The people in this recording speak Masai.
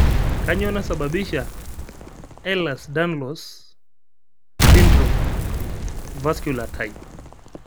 kanyioo naisababisha Ehlers Danlos syndrome, vasculer type?